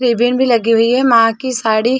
ribbon भी लगी हुई हैं माँ की साड़ी --